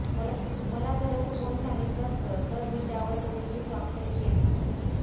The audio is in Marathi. मला जर असं कोणी सांगितलं असतं तर मी त्यावर कधीही स्वाक्षरी केलीच नसती